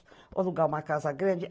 Vou alugar uma casa grande.